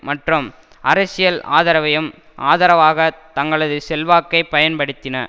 மற்றும் அரசியல் ஆதரவையும் ஆதரவாக தங்களது செல்வாக்கை பயன்படுத்தின